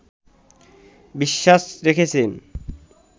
বিশ্বাস রেখেছেন